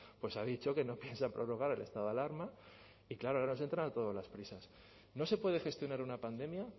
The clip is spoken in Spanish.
pues ha dicho que no piensa prorrogar el estado de alarma y claro ahora nos entran a todos las prisas no se puede gestionar una pandemia